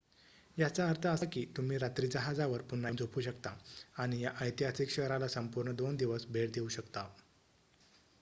याचा अर्थ असा की तुम्ही रात्री जहाजावर पुन्हा येऊन झोपू शकता आणि या ऐतिहासिक शहराला संपूर्ण दोन दिवस भेट देऊ शकता